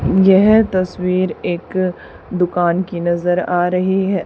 यह तस्वीर एक दुकान की नजर आ रही है।